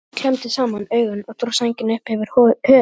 Örn klemmdi saman augun og dró sængina upp yfir höfuð.